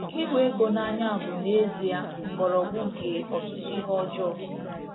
Ịhụ ego n’anya bụ n’ezie mgbọrọgwụ nke ọtụtụ ihe ọjọọ.